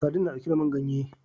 Sadin na ɗauke da man ganye